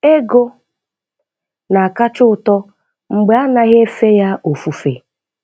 Ego na akacha ụtọ mgbe anaghị efe ya ofufe.